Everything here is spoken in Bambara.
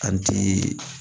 A ti